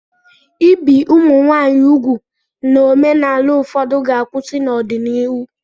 Ibi ụmụ nwanyị úgwù na omenala ụfọdụ ga-akwụsị n'ọdịnihu.